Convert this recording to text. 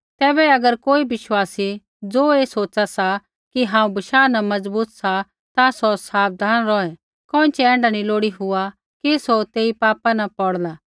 तैबै अगर कोई विश्वासी ज़ो ऐ सोच़ा सा कि हांऊँ बशाह न मजबूत सा ता सौ साबधान रौहै कोइँछ़ै ऐण्ढा नी लोड़ी हुआ कि सौ तेई पापा न पौड़ला